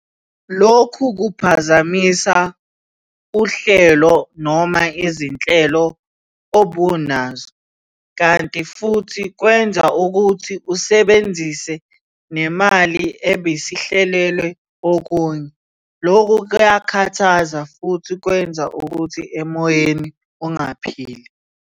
Lokhu kuphazamisa uhlelo noma izinhlelo obunazo, kanti futhi kwenza ukuthi usebenzise nemali ebisihlelelwe okunye. Lokhu kuyakhathaza futhi kwenza ukuthi emoyeni ungaphili.